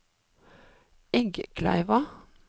Eggkleiva